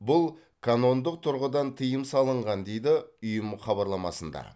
бұл канондық тұрғыдан тыйым салынған дейді ұйым хабарламасында